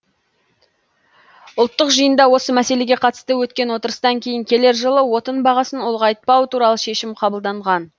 ұлттық жиында осы мәселеге қатысты өткен отырыстан кейін келер жылы отын бағасын ұлғайтпау туралы шешім қабылданған